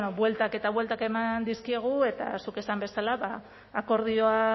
bueltak eta bueltak eman dizkiegu eta zuk esan bezala akordioa